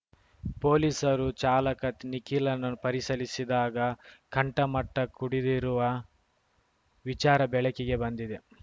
ಪೊಲೀಸರು ಚಾಲಕ ನಿಖಿಲ್‌ನನ್ನು ಪರಿಶೀಲಿಸಿದಾಗ ಕಂಠಮಟ್ಟಕುಡಿದಿರುವ ವಿಚಾರ ಬೆಳಕಿಗೆ ಬಂದಿದೆ